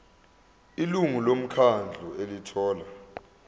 ilungu lomkhandlu elithola